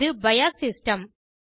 இது BIOS system